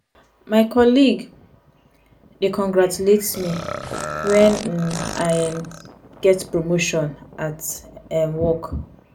my colleague dey congratulate me when um i um get promotion at um work.